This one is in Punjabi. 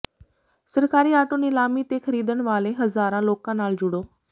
ਸਰਕਾਰੀ ਆਟੋ ਨਿਲਾਮੀ ਤੇ ਖਰੀਦਣ ਵਾਲੇ ਹਜ਼ਾਰਾਂ ਲੋਕਾਂ ਨਾਲ ਜੁੜੋ